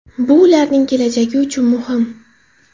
Bu ularning kelajagi uchun muhim.